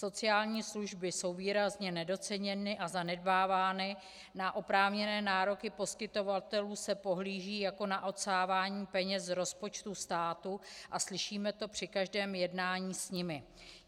Sociální služby jsou výrazně nedoceněny a zanedbávány, na oprávněné nároky poskytovatelů se pohlíží jako na odsávání peněz z rozpočtu státu a slyšíme to při každém jednání s nimi.